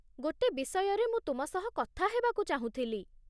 ଗୋଟେ ବିଷୟରେ ମୁଁ ତୁମ ସହ କଥା ହେବାକୁ ଚାହୁଁଥିଲି।